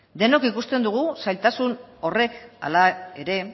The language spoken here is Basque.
denok ikusten dugu zailtasun horrek hala ere